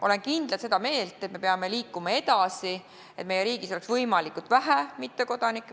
Olen kindlalt seda meelt, et me peame liikuma selle poole, et meie riigis oleks võimalikult vähe mittekodanikke.